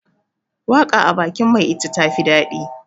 waka a bakin mai ita tafi dadi